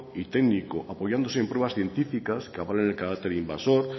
y técnico apoyándose en pruebas científicas que avalen el carácter invasor